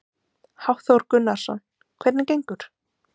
Hafþór Gunnarsson: Hvernig gengur?